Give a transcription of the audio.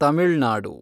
Tamil Nadu